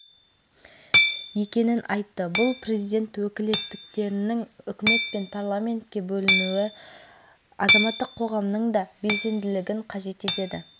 кенеш әлімжанов қатысып ол елбасының қазақстан халқына үндеуінде айтылған мәселелер еліміздегі демократиялық үрдістер дамуының айғағы